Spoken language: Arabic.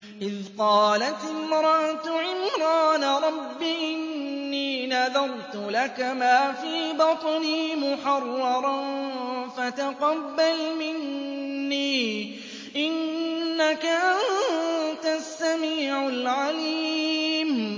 إِذْ قَالَتِ امْرَأَتُ عِمْرَانَ رَبِّ إِنِّي نَذَرْتُ لَكَ مَا فِي بَطْنِي مُحَرَّرًا فَتَقَبَّلْ مِنِّي ۖ إِنَّكَ أَنتَ السَّمِيعُ الْعَلِيمُ